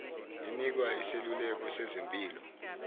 inikwa iseluleko sezempilo